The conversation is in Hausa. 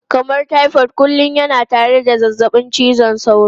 Kamar typhoid kullum yana tare da zazzabin cizon sauro.